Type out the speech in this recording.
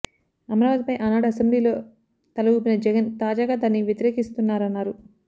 అమరావతిపై ఆనాడు అసెంబ్లీలో తల ఊపిన జగన్ తాజాగా దాన్ని వ్యతిరేకిస్తున్నారన్నారు